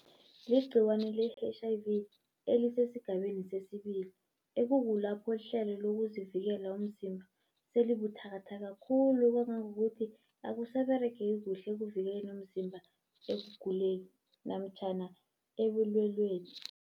Ligciwane le-H_I_V elisesigabeni sesibili, ekukulapho ihlelo lokuzivikela umzimba selibuthakathaka khulu. Kangangokuthi akusaberegeki kuhle ekuvikeleni umzimba ekuguleni namtjhana ebulweleni.